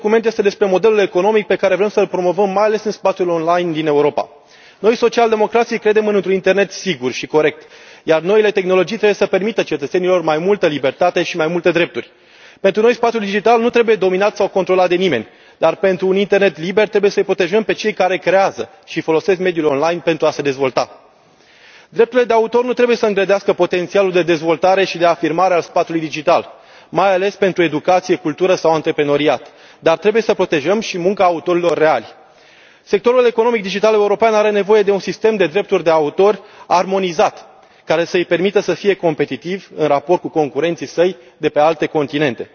Doamnă președintă, dragi colegi, acest raport nu este despre drepturile de autor sau doar despre cum afectează mediul digital. Acest document este despre modelul economic pe care vrem să îl promovăm, mai ales în spațiul online din Europa. Noi, social democrații, credem într un internet sigur și corect, iar noile tehnologii trebuie să permită cetățenilor mai multă libertate și mai multe drepturi. Pentru noi, spațiul digital nu trebuie dominat sau controlat de nimeni, dar, pentru un internet liber, trebuie să îi protejăm pe cei care creează și folosesc mediul online pentru a se dezvolta. Drepturile de autor nu trebuie să îngrădească potențialul de dezvoltare și de afirmare al spațiului digital, mai ales pentru educație, cultură sau antreprenoriat, dar trebuie să protejăm și munca autorilor reali. Sectorul economic digital european are nevoie de un sistem de drepturi de autor armonizat, care să îi permită să fie competitiv în raport cu concurenții săi de pe alte continente.